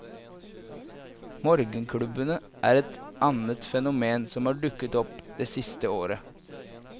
Morgenklubbene er et annet fenomen som har dukket opp det siste året.